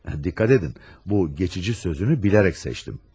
Dikkat edin, bu geçici sözünü bilerek seçtim.